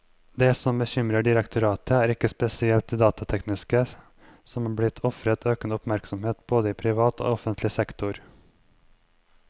Det som bekymrer direktoratet, er ikke spesielt det datatekniske, som er blitt ofret økende oppmerksomhet både i privat og offentlig sektor.